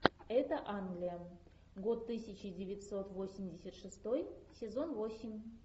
это англия год тысяча девятьсот восемьдесят шестой сезон восемь